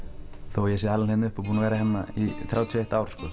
þó að ég sé alinn hérna upp og búinn að vera hérna í þrjátíu og eitt ár